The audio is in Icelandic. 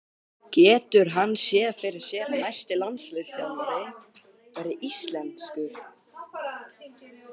Getur hann séð fyrir sér að næsti landsliðsþjálfari verði íslenskur?